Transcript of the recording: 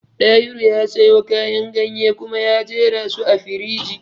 Dahiru ya sayo kayan ganye kuma ya jerasu a firiji